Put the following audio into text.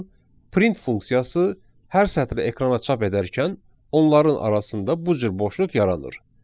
print funksiyası hər sətri ekrana çap edərkən onların arasında bu cür boşluq yaranır.